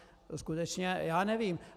Skutečně já nevím.